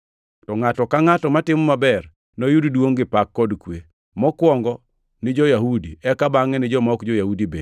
to ngʼato ka ngʼato matimo maber noyud duongʼ gi pak kod kwe, mokwongo ni jo-Yahudi, eka bangʼe ni joma ok jo-Yahudi bende;